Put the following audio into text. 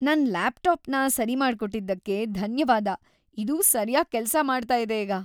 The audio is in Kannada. ನನ್ ಲ್ಯಾಪ್‌ಟಾಪ್‌ನ ಸರಿಮಾಡ್ಕೊಟ್ಟಿದ್ದಕ್ಕೆ ಧನ್ಯವಾದ. ಇದು ಸರ್ಯಾಗ್ ಕೆಲ್ಸ ಮಾಡ್ತಾ ಇದೆ ಈಗ.